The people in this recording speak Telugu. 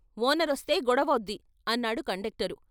ఓనరొస్తే గొడవవుద్ది " అన్నాడు కండక్టరు.